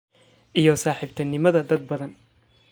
iyo saaxiibtinimada dad badan.